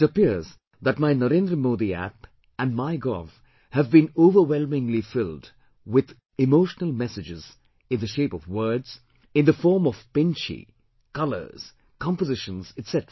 It appears that my NarendraModiApp and MyGov have been overwhelmingly filled with emotional messages, in the shape of words, in the form of 'Pinchhi', colours, compositions, etc